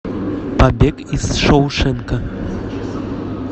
побег из шоушенка